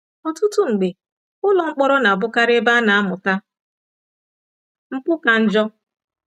Ọtụtụ mgbe, ụlọ mkpọrọ na-abụkarị ebe a na-amụta mpụ ka njọ.